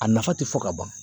A nafa tɛ fɔ ka ban.